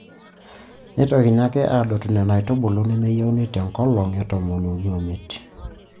Neitokini ake aadotu Nena aitubulu nemeyieuni te nkolong e tomoniuni omiet.